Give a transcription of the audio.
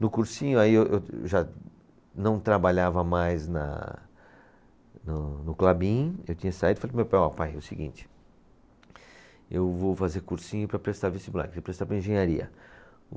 No cursinho, aí eu, eu já não trabalhava mais na, no, no Klabin, eu tinha saído e falei para o meu pai, ó pai, é o seguinte, eu vou fazer cursinho para prestar vestibular, queria prestar para engenharia.